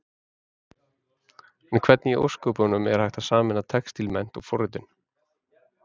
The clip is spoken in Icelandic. En hvernig í ósköpunum, er hægt að sameina textílmennt og forritun?